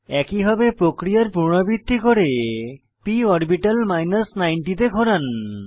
একইভাবে প্রক্রিয়ার পুনরাবৃত্তি করে p অরবিটাল 90 তে ঘোরান